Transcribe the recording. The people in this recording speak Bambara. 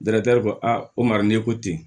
ko a ko maralen ko ten